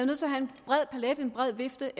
nødt til at have en bred vifte